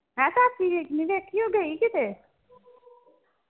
ਮੈਂ ਕਿਹਾ ਪ੍ਰੀਤ ਨੀ ਦੇਖੀ ਉਹ ਗਈ ਕਿਤੇ?